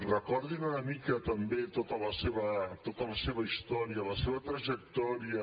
recordin una mica també tota la seva història la seva trajectòria